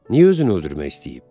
Niyə özünü öldürmək istəyib?